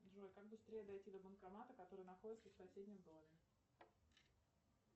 джой как быстрее дойти до банкомата который находится в соседнем доме